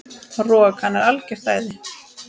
Rok, hann er algjört æði.